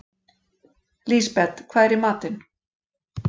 Lisbeth, hvað er í matinn?